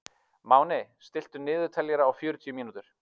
Máni, stilltu niðurteljara á fjörutíu mínútur.